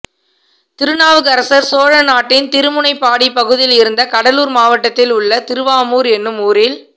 திருநாவுக்கரசர் சோழநாட்டின் திருமுனைப்பாடி பகுதியிலிருந்த கடலூர் மாவட்டத்தில் உள்ள திருவாமூர் எனும் ஊரில்